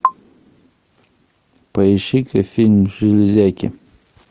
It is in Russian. поищи ка фильм железяки